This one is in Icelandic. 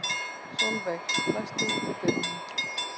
Solveig, læstu útidyrunum.